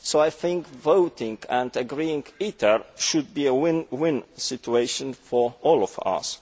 So I think voting and agreeing ITER should be a win win situation for all of us.